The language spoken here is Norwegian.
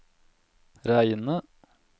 reine